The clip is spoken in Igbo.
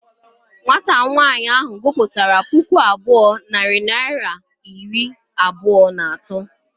Nwata nwaanyị a gụpụtara puku abụọ na narị naịra iri abụọ na atọ.